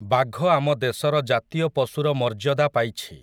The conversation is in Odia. ବାଘ ଆମ ଦେଶର ଜାତୀୟ ପଶୁର ମର୍ଯ୍ୟଦା ପାଇଛି ।